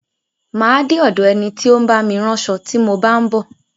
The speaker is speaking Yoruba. Má a de ọ̀do ẹni tí ó ń bá mi ránṣo tí mo bá ń bọ̀.